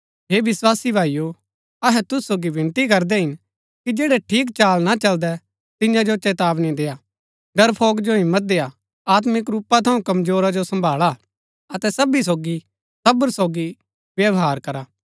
हे विस्वासी भाईओ अहै तुसु सोगी विनती करदै हिन कि जैड़ै ठीक चाल ना चलदै तियां जो चेतावनी देय्आ डरफ़ोक जो हिम्मत देय्आ आत्मिक रूपा थऊँ कमजोरा जो सम्भाळा अतै सबी सोगी सब्र सोगी व्यवहार करा